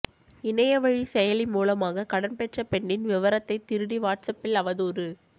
இணையவழி செயலி மூலமாக கடன் பெற்ற பெண்ணின் விவரத்தைத் திருடி வாட்ஸ்அப்பில் அவதூறு